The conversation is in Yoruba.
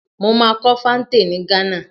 Mo máa kọ́ fante ni Ghana.